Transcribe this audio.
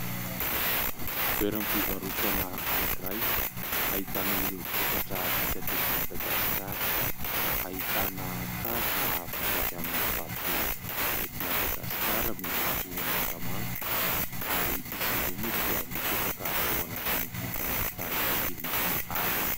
Toeram-pivarotana anankiray, hahitana ireo vokatra vita tety Madagasikara, ahitana kavina vita avy amin'ny vato ety Madagasikara miloko mangamanga, ary izy ireo moa dia mipetraka ao anatin'ity trano fitaratra kely iti aby.